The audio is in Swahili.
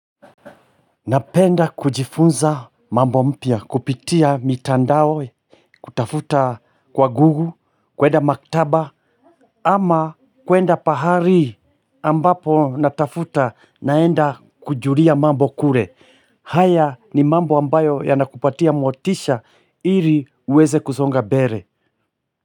Napenda kujifunza mambo mpya, kupitia mitandao, kutafuta kwa google, kwenda maktaba, ama kwenda pahali ambapo natafuta naenda kujulia mambo kule. Haya ni mambo ambayo yanakupatia motisha ili uweze kusonga mbele.